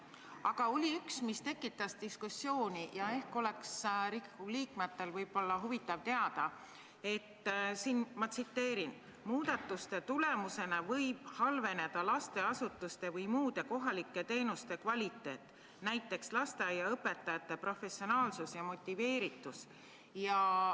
Aga seekord oli üks, mis tekitas diskussiooni, ja ehk oleks Riigikogu liikmetel huvitav teada, et – ma tsiteerin – "muudatuste tulemusena võib halveneda lasteasutuste või muude kohalike teenuste kvaliteet, näiteks lasteaiaõpetajate professionaalsus ja motiveeritus".